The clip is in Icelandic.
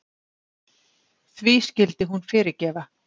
Því skyldi hún fyrirgefa?